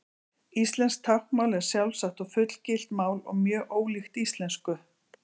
Íslenskt táknmál er sjálfstætt og fullgilt mál og mjög ólíkt íslensku.